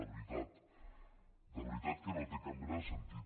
de veritat de veritat que no té cap mena de sentit